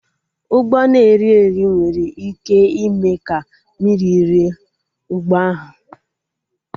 Ụgbọ na-eri eri nwere ike ime ka mmiri rie ụgbọ ahụ